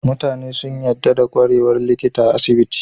Mutane sun yadda da kwarewar likita a asibiti